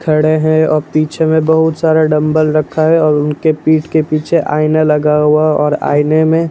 खड़े हैं और पीछे में बहुत सारा डंबल रखा है और उनके पीठ के पीछे आईना लगा हुआ और आईने में --